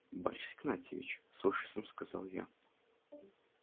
борис игнатьевич с ужасом сказал я